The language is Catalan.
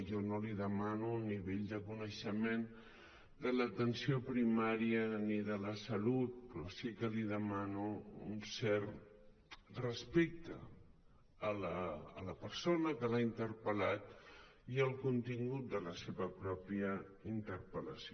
jo no li demano el nivell de coneixement de l’atenció primària ni de la salut però sí que li demano un cert respecte a la persona que l’ha interpel·lat i al contingut de la seva mateixa interpel·lació